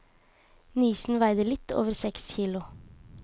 Nisen veide litt over seks kilo.